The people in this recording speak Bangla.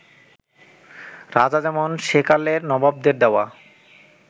রাজা যেমন সেকালের নবাবদের দেওয়া